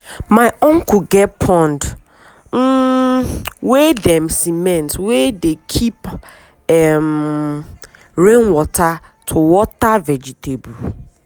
my uncle get pond um wey dem cement wey dey keep um rain water to water vegetable.